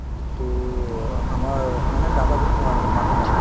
to অ আমাৰ মানে দাদা বুলি কওঁ আৰু মই মাত দিম আৰু